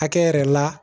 Hakɛ yɛrɛ la